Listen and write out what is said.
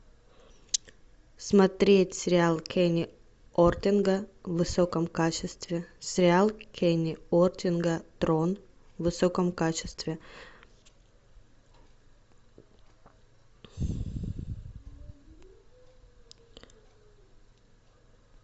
смотреть сериал кенни ортега в высоком качестве сериал кенни ортега трон в высоком качестве